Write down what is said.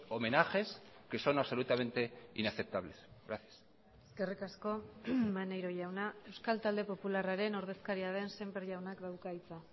homenajes que son absolutamente inaceptables gracias eskerrik asko maneiro jauna euskal talde popularraren ordezkaria den sémper jaunak dauka hitza